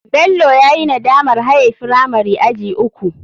Bello yayi nadamar haye firamari aji uku.